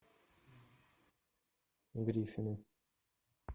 гриффины